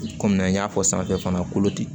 Kɔmi an y'a fɔ sanfɛ fana kolo di